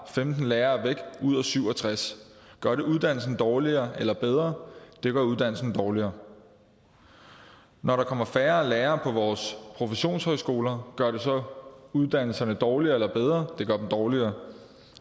femten lærere væk ud af syv og tres gør det uddannelsen dårligere eller bedre det gør uddannelsen dårligere når der kommer færre lærere på vores professionshøjskoler gør det så uddannelserne dårligere eller bedre det gør dem dårligere